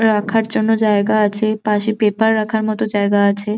রাখার জন্য জায়গা আছে পাশে পেপার রাখার মতো জায়গা আছে।